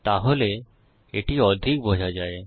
তাহলে এটি অধিক বোঝা যায়